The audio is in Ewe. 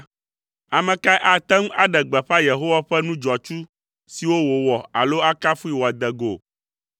Ame kae ate ŋu aɖe gbeƒã Yehowa ƒe nu dzɔatsu siwo wòwɔ alo akafui wòade go?